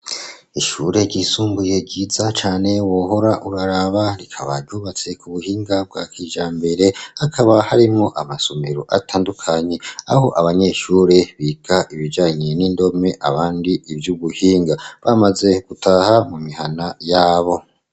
Ishure ryisumbuye ryiza cane wohora uraraba, rikaba ryubatse ku buhinga bwa kijambere hakaba harimo amasomero atandukanye aho abanyeshure biga ibijanye n'indome abandi ivy'ubuhinga bamaze gutaha mu mihana yabo.